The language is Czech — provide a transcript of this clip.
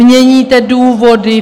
Měníte důvody.